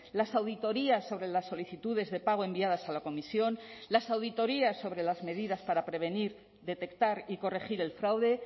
las auditorías sobre las solicitudes de pago enviadas a la comisión las auditorías sobre las medidas para prevenir detectar y corregir el fraude